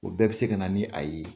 O bɛɛ bi se ka na ni a ye.